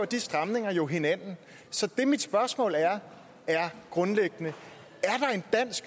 de stramninger jo hinanden så mit spørgsmål er grundlæggende